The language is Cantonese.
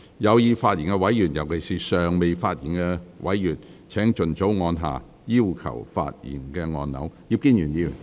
有意發言的委員，尤其是尚未發言的委員，請盡早按下"要求發言"按鈕。